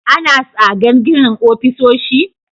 Ana tsadar ginin ofisoshi?